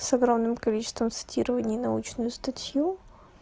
с огромным количеством цитирования и научную статью